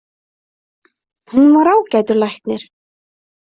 Hún var ágætur læknir.